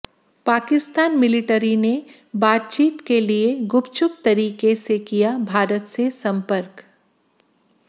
Pakistan military ने बातचीत के लिए गुपचुप तरीके से किया भारत से संपर्क